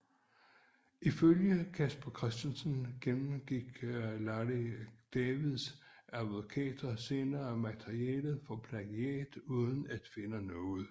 Ifølge Casper Christensen gennemgik Larry Davids advokater senere materialet for plagiat uden at finde noget